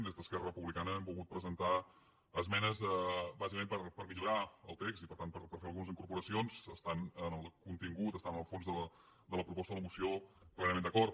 des d’esquerra republicana hem volgut presentar esmenes bàsicament per millorar el text i per tant per fer algunes incorporacions i estem amb el contingut estem amb el fons de la proposta de la moció plenament d’acord